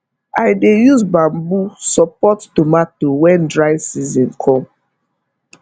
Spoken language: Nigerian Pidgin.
i dey use bamboo support tomato when dry season come